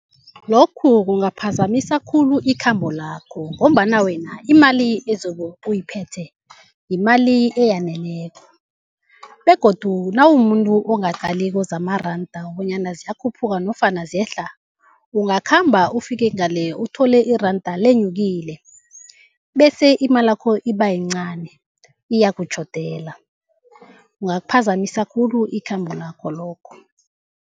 Lokhu kungaphazamisa khulu ikhambo lakho, ngombana wena imali ezobe uyiphethe yimali eyaneleko. Begodu nawumuntu ongaqaliko zamaranda bonyana ziyakhuphuka nofana ziyehla, ungakhamba ufike ngale uthole iranda lenyukile bese imalakho ibayincani iyakutjhodela, kungaliphazamisa khulu ikhambo lakho, lokho.